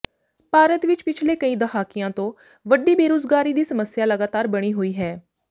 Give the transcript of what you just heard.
ਭਾਰਤ ਵਿਚ ਪਿਛਲੇ ਕਈ ਦਹਾਕਿਆਂ ਤੋਂ ਵੱਡੀ ਬੇਰੁਜ਼ਗਾਰੀ ਦੀ ਸਮੱਸਿਆ ਲਗਾਤਾਰ ਬਣੀ ਹੋਈ ਹੈ